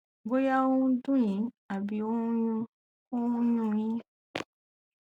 bóyá ó ń dùn yín àbí ó ń yún ó ń yún un yín